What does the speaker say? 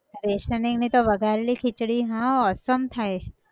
rationing ની તો વઘારેલી ખીચડી, હા awesome થાય છ